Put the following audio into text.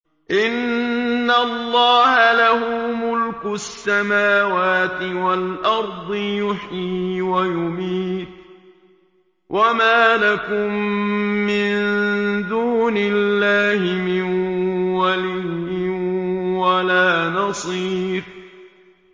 إِنَّ اللَّهَ لَهُ مُلْكُ السَّمَاوَاتِ وَالْأَرْضِ ۖ يُحْيِي وَيُمِيتُ ۚ وَمَا لَكُم مِّن دُونِ اللَّهِ مِن وَلِيٍّ وَلَا نَصِيرٍ